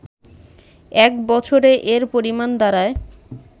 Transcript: এক বছরে এর পরিমাণ দাড়ায়